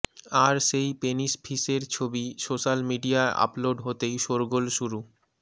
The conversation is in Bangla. আর সেই পেনিস ফিশের ছবি সোশ্যাল মিডিয়া আপলোড হতেই শোরগোল শুরু